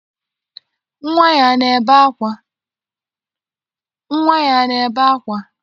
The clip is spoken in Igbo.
Nnwa ya ana ebe ákwá?